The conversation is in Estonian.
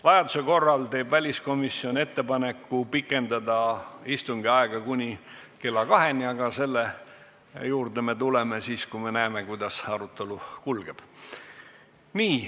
Vajaduse korral teeb väliskomisjon ettepaneku istungi aega pikendada kuni kella kaheni, aga selle juurde tuleme siis, kui oleme näinud, kuidas arutelu kulgeb.